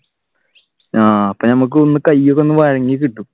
ആഹ് അപ്പൊ നമുക്ക് ഒന്ന് കയ്യൊക്കെ ഒന്ന് വഴങ്ങി കിട്ടും.